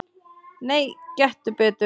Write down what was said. Nei, gettu betur